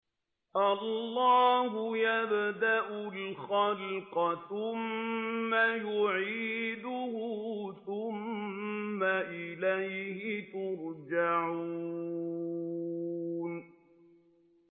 اللَّهُ يَبْدَأُ الْخَلْقَ ثُمَّ يُعِيدُهُ ثُمَّ إِلَيْهِ تُرْجَعُونَ